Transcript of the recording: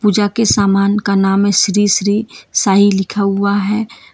जा के सामान का नाम है श्री श्री साईं लिखा हुआ है।